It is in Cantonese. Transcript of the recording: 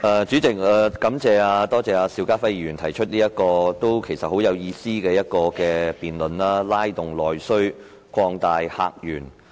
主席，感謝邵家輝議員提出這項很有意思的議案辯論："拉動內需擴大客源"。